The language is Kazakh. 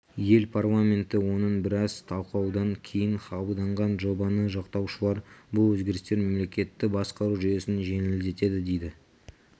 ел парламенті оны біраз талқылаудан кейін қабылдаған жобаны жақтаушылар бұл өзгерістер мемлекетті басқару жүйесін жеңілдетеді дейді